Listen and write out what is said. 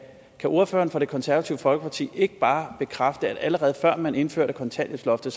kan ordføreren for det konservative folkeparti ikke bare bekræfte at allerede før man indførte kontanthjælpsloftet